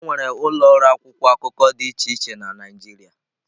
Enwere ụlọ ọrụ akwụkwọ akụkọ dị iche iche na Naịjirịa.